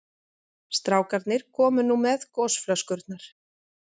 Strákarnir komu nú með gosflöskurnar.